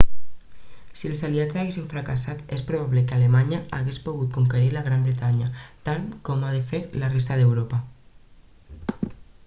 si els aliats haguessin fracassat és probable que alemanya hagués pogut conquerir la gran bretanya tal com ho va fer amb la resta d'europa